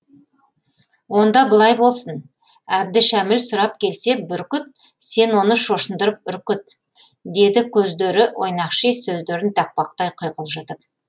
онда былай болсын әбдішәміл сұрап келсе бүркіт сен оны шошындырып үркіт деді көздері ойнақши сөздерін тақпақтай құйқылжытып